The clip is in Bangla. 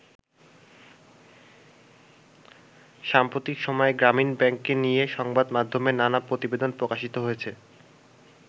সাম্প্রতিক সময়ে গ্রামীন ব্যাংককে নিয়ে সংবাদ মাধ্যমে নানা প্রতিবেদন প্রকাশিত হয়েছে।